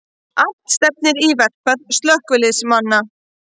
Allt stefnir í verkfall slökkviliðsmanna